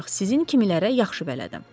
ancaq sizin kimilərə yaxşı bələdəm.